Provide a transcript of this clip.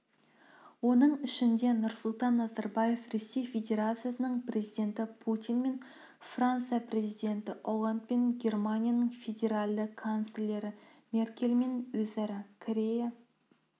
оның ішінде нұрсұлтан назарбаев ресей федерациясының президенті путинмен франция президенті олландпен германияның федералды канцлері меркельмен корея